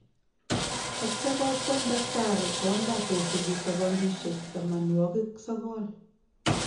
atya kogweny tacktari kondoa kosupi sekondishek themanwagik sogol.